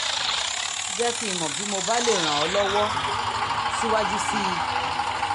jẹ́ kí n mọ̀ bí mo bá lè ràn ọ́ lọ́wọ́ síwájú sí i